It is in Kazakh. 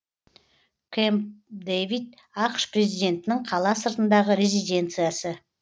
кэмп дэвид ақш президентінің қала сыртындағы резиденциясы